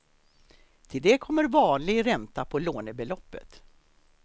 Till det kommer vanlig ränta på lånebeloppet.